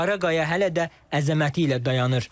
Qara qaya hələ də əzəməti ilə dayanır.